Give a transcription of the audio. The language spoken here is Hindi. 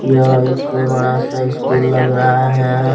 यह एक बड़ा सा स्कूल लग रहा है।